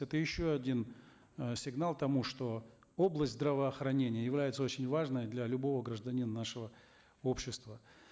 это еще один э сигнал к тому что область здравоохранения является очень важной для любого гражданина нашего общества